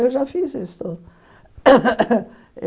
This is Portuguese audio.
Eu já fiz isso.